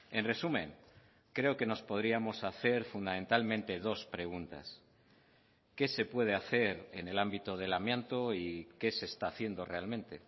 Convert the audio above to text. en resumen creo que nos podríamos hacer fundamentalmente dos preguntas qué se puede hacer en el ámbito del amianto y qué se está haciendo realmente